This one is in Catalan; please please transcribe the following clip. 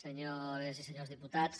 senyores i senyors diputats